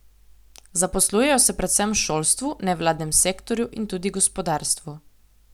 Zaposlujejo se predvsem v šolstvu, nevladnem sektorju in tudi gospodarstvu.